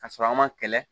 Ka sɔrɔ a ma kɛlɛ